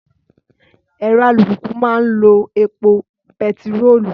Ẹ̀rọ alùpùpù máa ń lo epo bẹtiróòlù